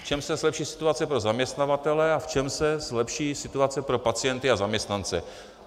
V čem se zlepší situace pro zaměstnavatele a v čem se zlepší situace pro pacienty a zaměstnance?